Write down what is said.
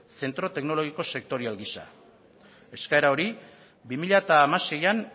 zentro teknologiko sektorial gisa eskaera hori bi mila hamaseian